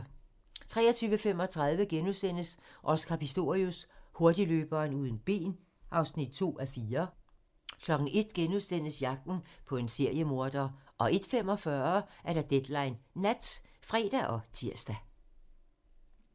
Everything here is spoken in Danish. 23:35: Oscar Pistorius: Hurtigløberen uden ben (2:4)* 01:00: Jagten på en seriemorder * 01:45: Deadline Nat (fre og tir)